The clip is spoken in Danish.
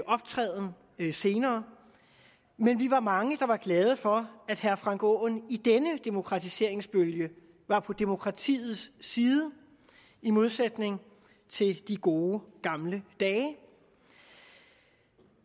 optræden senere men vi var mange der var glade for at herre frank aaen i denne demokratiseringsbølge var på demokratiets side i modsætning til i de gode gamle dage vi